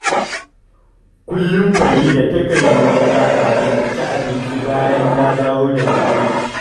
Kullum Farida takan yi wanka kafin ta ci abinci bayan ta dawo daga aiki